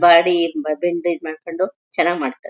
Body ಬ್ಯಾಗಿಂಡಿ ಮಾಡ್ಕೊಂಡು ಚೆನ್ನಾಗಿ ಮಾಡ್ತಾರೆ.